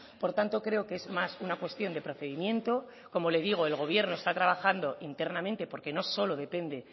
por tanto creo que es más una cuestión de procedimiento como le digo el gobierno está trabajando internamente porque no solo depende